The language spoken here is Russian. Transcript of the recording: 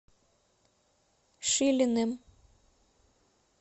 шилиным